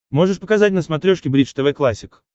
можешь показать на смотрешке бридж тв классик